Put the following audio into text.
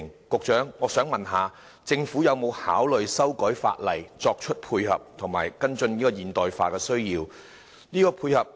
局長，我想問政府有否考慮修改法例作出配合，以及跟進現代化的需要？